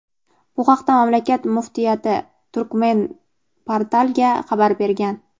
Bu haqda mamlakat Muftiyati "Turkmenportal"ga xabar bergan.